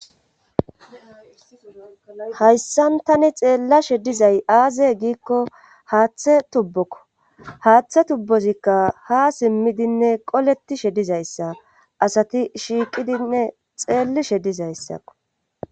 Hayssan tani xeellashe dizay aaze giikko haaththe tubbokko haaththe tubbozikka ha simmidinne qoletishe dizayssa asati shiiqidinne xeellishe dizayssakko.